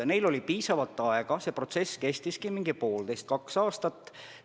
Et neil oli piisavalt aega, see protsess kestis poolteist-kaks aastat.